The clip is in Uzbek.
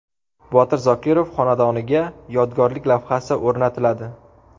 Botir Zokirov xonadoniga yodgorlik lavhasi o‘rnatiladi.